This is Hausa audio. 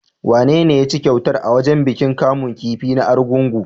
Wanene ya cinye kyautar a wajen bikin kamun kifi na Argungu?